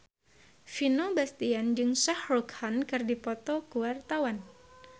Vino Bastian jeung Shah Rukh Khan keur dipoto ku wartawan